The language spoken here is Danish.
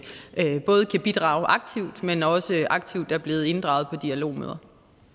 kan bidrage aktivt men også aktivt er blevet inddraget på dialogmøder